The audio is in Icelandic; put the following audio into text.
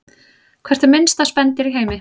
Hvert er minnsta spendýr í heimi?